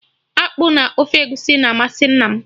Akpụ na ofe Egusi na-amasị nna m